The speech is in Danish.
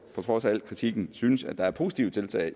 på trods af al kritikken synes at der er positive tiltag